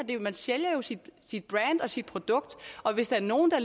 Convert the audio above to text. man sælger jo sit sit brand og sit produkt og hvis der er nogen der